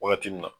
Wagati min na